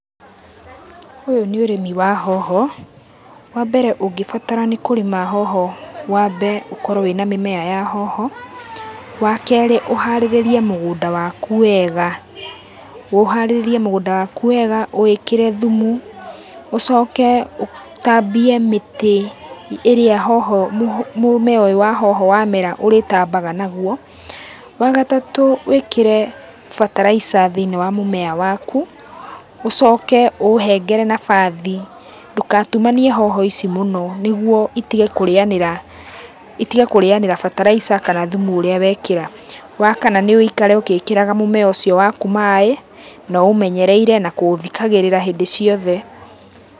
Ũyũ nĩ ũrimi wa hoho, wa mbere ũngĩbatara nĩ kurĩma hoho wambe ũkorwo wĩna mĩmea ya hoho. Wa kerĩ ũharĩrĩrie mũgunda waku wega, ũharĩrĩrie mũgunda waku wega, ũwĩkĩre thumu. Ũcoke ũtambie mĩtĩ ĩrĩa hoho mũmea ũyũ wa hoho wamera ũrĩtambaga naguo. Wa gatatũ wĩkĩre feterliser thiinĩ wa mũmea waku, ũcoke ũũhengere nabathi. Ndũgatumanie hoho ici mũno nĩ guo itige kũrĩanĩra fertalizer kana thumu ũrĩa we kĩra. Wa kana nĩ ũikare ũgĩkĩraga mũmea ũcio waku maĩ na ũũmenyereire na kũũthikagĩrĩra hĩndĩ ciothe.